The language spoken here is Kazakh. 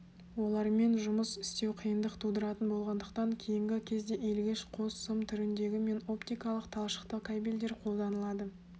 олармен жұмыс істеу қиындық тудыратын болғандықтан кейінгі кезде иілгіш қос сым түріндегі мен оптикалық талшықты кабельдер қолданылады